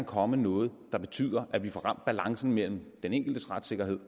komme noget der betyder at vi får ramt balancen mellem den enkeltes retssikkerhed